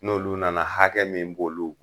N'olu nana hakɛ min b'olu